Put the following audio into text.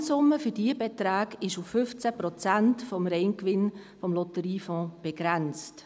Die Gesamtsumme für diese Beträge ist auf 15 Prozent des Reingewinns des Lotteriefonds begrenzt.